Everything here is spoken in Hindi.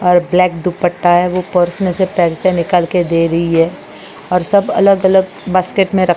ब्लॅक दुपट्टा है वो पर्स में से पैसे निकाल के दे रही है और सब अलग-अलग बास्केट में रख --